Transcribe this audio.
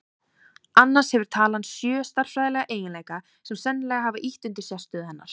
Annars hefur talan sjö stærðfræðilega eiginleika sem sennilega hafa ýtt undir sérstöðu hennar.